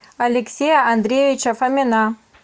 алексея андреевича фомина